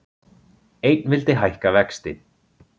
Einn vildi hækka vexti